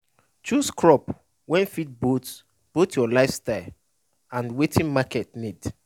chose crop wey fit both both your life style and watin market need